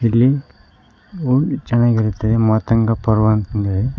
ಇಲ್ಲಿ ಹೊ ಚೆನ್ನಾಗಿರುತ್ತೆ ಮಾತಂಗ ಪರ್ವತ ಅಂತ್ ಇದೆ.